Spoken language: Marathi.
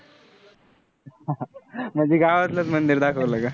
म्हणजे गावातलंच मंदिर दाखवलं का?